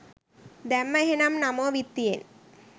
දැම්ම එහෙනම් නමෝ විත්තියෙන්.